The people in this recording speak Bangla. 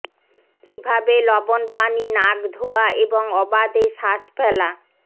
কীভাবে লবণ পানি নাক ধোয়া এবং অবাধে শ্বাস ফেলা